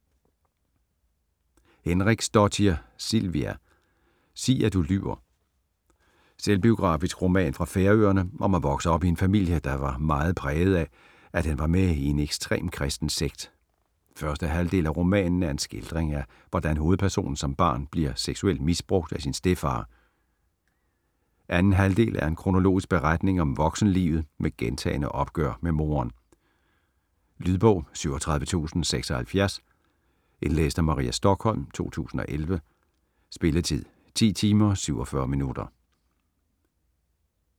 Henriksdóttir, Silvia: Sig at du lyver Selvbiografisk roman fra Færøerne om at vokse op i en familie, der var meget præget af, at den var med i en ekstrem kristen sekt. Første halvdel af romanen er en skildring af hvordan hovedpersonen som barn bliver seksuelt misbrugt af sin stedfar. Anden halvdel er en kronologisk beretning om voksenlivet med gentagne opgør med moderen. Lydbog 37076 Indlæst af Maria Stokholm, 2011. Spilletid: 10 timer, 47 minutter.